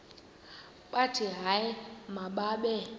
bathi hayi mababe